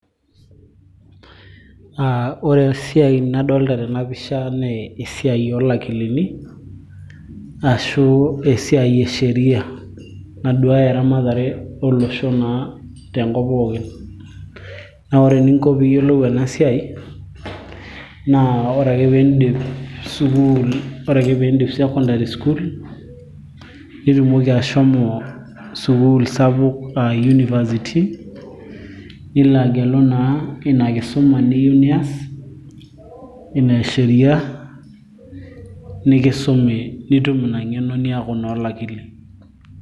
uh, ore esiai nadolita tenapisha naa esiai oolakilini ashu esiai e sheria naduaya eramatare olosho naa tenkop pookin naa ore eninko piiyiolou ena siai naa ore ake piindip sukuul, ore ake piindip secondary school nitumoki ashomo sukuul sapuk aa university nilo agelu naa ina kisuma niyieu nias ina e sheria nikisumi nitum ina ng'eno niaku naa olakili.